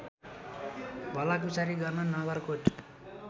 भलाकुसारी गर्न नगरकोट